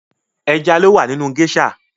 Ẹja lowa nínú gésà